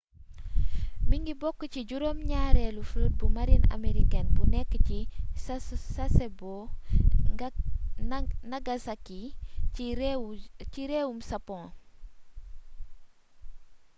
mingi bokk ci juróom ñaareelu flotte bu marine américaine bi nekk ci sasebo nagasaki ci réewum japon